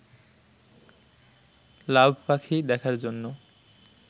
লাভ পাখি দেখার জন্য